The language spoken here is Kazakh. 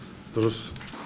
дұрыс